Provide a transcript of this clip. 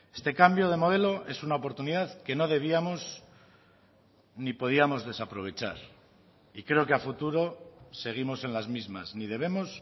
este cambio de modelo es una oportunidad que no debíamos ni podíamos desaprovechar y creo que a futuro seguimos en las mismas ni debemos